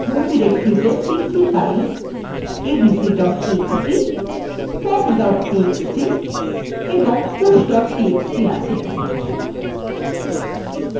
ধরুন আমাদের home ডিরেক্টরিতে ৩ txt files abc txt pop txt এবং push txt আছে